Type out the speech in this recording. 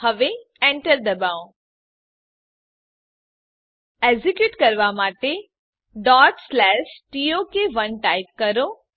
હવે એન્ટર દબાવો એક્ઝેક્યુટ કરવાં માટે ટોક1 ટાઈપ કરો